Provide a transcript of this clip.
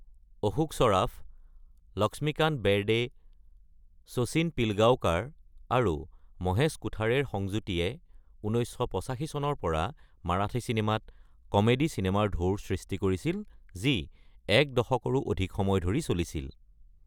অশোক সৰাফ, লক্ষ্মীকান্ত বেৰদে, শচীন পিলগাঁওকাৰ আৰু মহেশ কোথাৰেৰ সংযুতিয়ে ১৯৮৫ চনৰ পৰা মাৰাঠী চিনেমাত "কমেডী চিনেমাৰ ঢৌ"-ৰ সৃষ্টি কৰিছিল যি এক দশকৰো অধিক সময় ধৰি চলিছিল।